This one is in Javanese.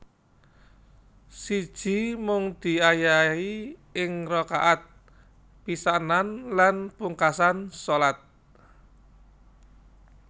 Siji Mung diayahi ing rakaat pisanan lan pungkasan shalat